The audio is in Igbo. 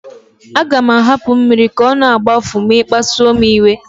Aga m ahapụ mmiri ka ọ na-agbafu ma ị kpasuo m iwe